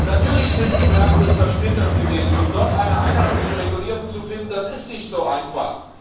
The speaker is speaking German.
Natürlich sind die Märkte zersplittert gewesen, und dort eine einheitliche Regulierung zu finden, das ist nicht so einfach.